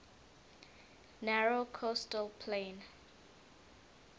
narrow coastal plain